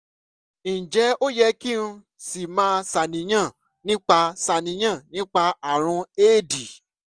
ǹjẹ́ ó yẹ kí n ṣì máa ṣàníyàn nípa ṣàníyàn nípa ààrùn éèdì?